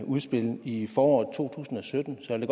udspil i foråret to tusind og sytten så jeg